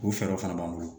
O fɛɛrɛw fana b'an bolo